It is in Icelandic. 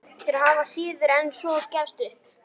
Þeir hafa síður en svo gefist upp.